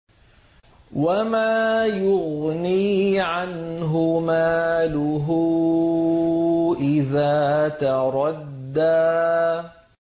وَمَا يُغْنِي عَنْهُ مَالُهُ إِذَا تَرَدَّىٰ